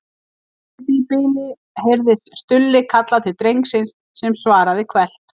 Í því bili heyrðist Stulli kalla til drengsins sem svaraði hvellt